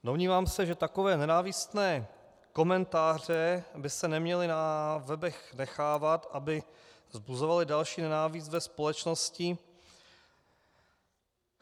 Domnívám se, že takové nenávistné komentáře by se neměly na webech nechávat, aby vzbuzovaly další nenávist ve společnosti.